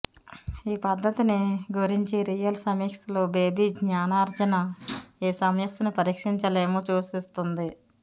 ఈ పద్ధతిని గురించి రియల్ సమీక్షలు బేబీ జ్ఞానార్జన ఏ సమస్యను పరిష్కరించలేము సూచిస్తుంది